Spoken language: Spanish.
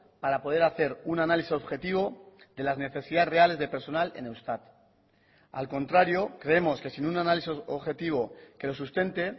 para poder hacer un análisis objetivo de las necesidades reales de personal en eustat al contrario creemos que sin un análisis objetivo que lo sustente